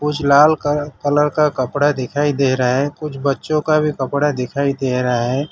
कुछ लाल कर कलर का कपड़ा दिखाई दे रहा है कुछ बच्चों का भी कपड़ा दिखाई दे रहा है।